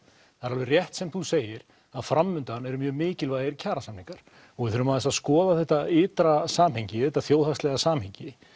það er alveg rétt sem þú segir að fram undan eru mjög mikilvægir kjarasamningar og við þurfum aðeins að skoða þetta ytra samhengi þetta þjóðhagslega samhengi